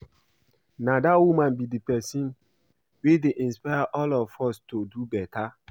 Na dat woman be the person wey dey inspire all of us to do beta